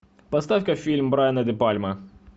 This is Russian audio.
поставь ка фильм брайана де пальма